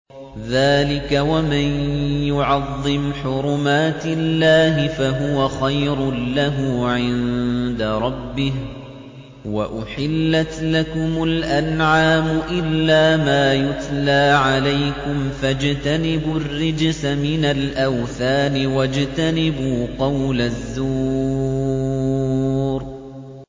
ذَٰلِكَ وَمَن يُعَظِّمْ حُرُمَاتِ اللَّهِ فَهُوَ خَيْرٌ لَّهُ عِندَ رَبِّهِ ۗ وَأُحِلَّتْ لَكُمُ الْأَنْعَامُ إِلَّا مَا يُتْلَىٰ عَلَيْكُمْ ۖ فَاجْتَنِبُوا الرِّجْسَ مِنَ الْأَوْثَانِ وَاجْتَنِبُوا قَوْلَ الزُّورِ